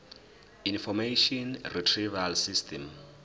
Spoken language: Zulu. information retrieval system